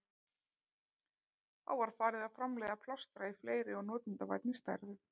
Þá var farið að framleiða plástra í fleiri og notendavænni stærðum.